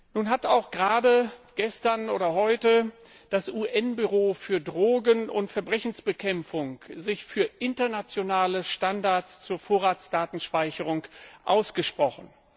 Nun hat sich gerade heute das UN Büro für Drogen und Verbrechensbekämpfung für internationale Standards zur Vorratsdatenspeicherung ausgesprochen.